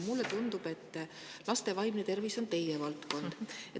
Mulle tundub, et laste vaimne tervis on teie valdkond.